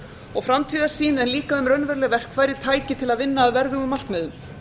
og framtíðarsýn en líka um raunveruleg verkfæri tæki til að vinna að verðugum markmiðum